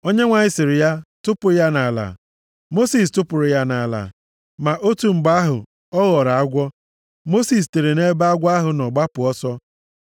Onyenwe anyị sịrị ya, “Tụpụ ya nʼala.” Mosis tụpụrụ ya nʼala. Ma otu mgbe ahụ, ọ ghọrọ agwọ. Mosis sitere nʼebe agwọ ahụ nọ gbapụ ọsọ.